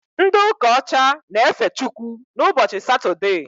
Ndị ụka ọcha na efe Chukwu ụbọchị Satode